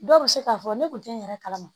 Dɔw bɛ se k'a fɔ ne kun tɛ n yɛrɛ kalama